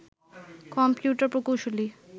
computer প্রকৌশলী